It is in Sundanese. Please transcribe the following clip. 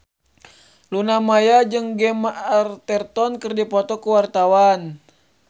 Luna Maya jeung Gemma Arterton keur dipoto ku wartawan